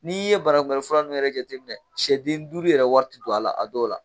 N'i ye banakunbɛ fura ninnu yɛrɛ jateminɛ sɛ den duuru yɛrɛ wari tɛ don a la a dɔw la